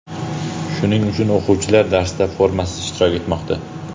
Shuning uchun o‘quvchilar darsda formasiz ishtirok etmoqda.